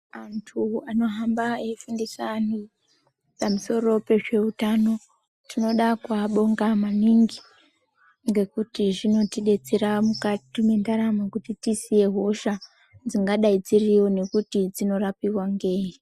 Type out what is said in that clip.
Andu anohamba eifundisa vandu pamusoro pezveutano tinoda kuva bonga maningi ngekuti zvinotibetsera mukati mendaramo kuti tizive hosha dzingadai dziriyo nekuti dzinorapiwa ngeyi.